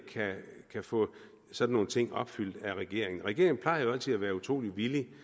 kan få sådan nogle ting opfyldt af regeringen regeringen plejer jo altid at være utrolig villig